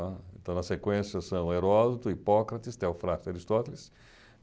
Então, na sequência, são Heródoto, Hipócrates, Telfrato e Aristóteles.